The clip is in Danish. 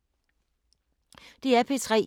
DR P3